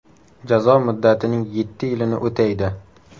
Jazo muddatining yetti yilini o‘taydi.